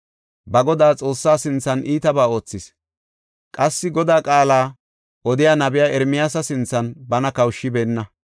Ba Godaa Xoossaa sinthan iitabaa oothis; qassi Godaa qaala odiya nabiya Ermiyaasa sinthan bana kawushibeenna.